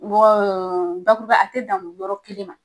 Wɔɔɔɔn bakuruba a te dan yɔrɔ kelen ma